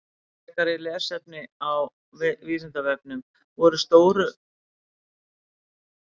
Frekara lesefni á Vísindavefnum: Voru stóumenn skeytingarlausir um allt nema dygðina?